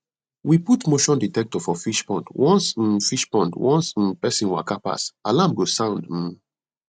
we put motion dectector for fishpond once um fishpond once um person waka pass alarm go sound um